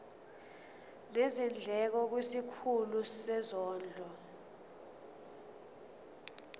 nezindleko kwisikhulu sezondlo